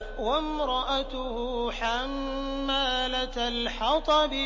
وَامْرَأَتُهُ حَمَّالَةَ الْحَطَبِ